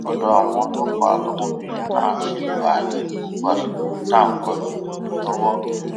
ọdọ àwọn ọlọpàá lọmọbìnrin náà ṣì wà ní gbogbo àsìkò tá à ń kọ ìròyìn yìí lọwọ